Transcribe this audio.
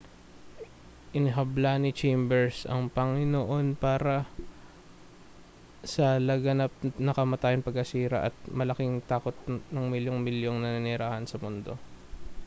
inihabla ni chambers ang panginoon para sa laganap na kamatayan pagkasira at malaking takot ng milyun-milyong naninirahan sa mundo